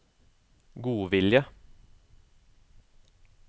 godvilje